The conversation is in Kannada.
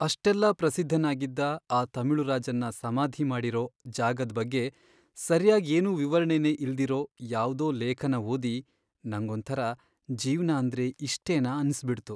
ಅಷ್ಟೆಲ್ಲ ಪ್ರಸಿದ್ಧನಾಗಿದ್ದ ಆ ತಮಿಳು ರಾಜನ್ನ ಸಮಾಧಿ ಮಾಡಿರೋ ಜಾಗದ್ ಬಗ್ಗೆ ಸರ್ಯಾಗ್ ಏನೂ ವಿವರಣೆನೇ ಇಲ್ದಿರೋ ಯಾವ್ದೋ ಲೇಖನ ಓದಿ ನಂಗೊಂಥರ ಜೀವ್ನ ಅಂದ್ರೆ ಇಷ್ಟೇನಾ ಅನ್ಸ್ಬಿಡ್ತು.